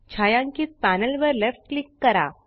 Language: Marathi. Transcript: छायांकित पॅनल वर लेफ्ट क्लिक करा